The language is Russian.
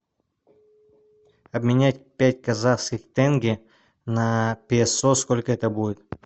обменять пять казахских тенге на песо сколько это будет